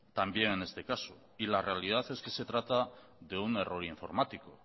también en este caso y la realidad es que se trata de un error informático